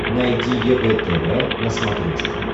найди егэ тв на смотрешке